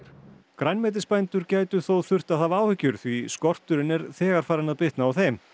grænmetisbændur gætu þó þurft að hafa áhyggjur því skorturinn er þegar farinn að bitna á þeim